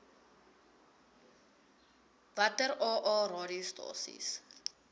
watter aa radiostasies